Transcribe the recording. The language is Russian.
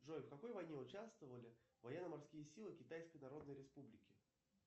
джой в какой войне участвовали военно морские силы китайской народной республики